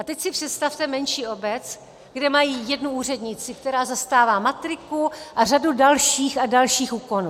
A teď si představte menší obec, kde mají jednu úřednici, která zastává matriku a řadu dalších a dalších úkonů.